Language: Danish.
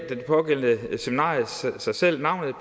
det pågældende seminarium sig selv navnet